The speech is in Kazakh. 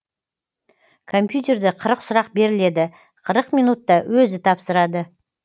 компьютерде қырық сұрақ беріледі қырық минутта өзі тапсырады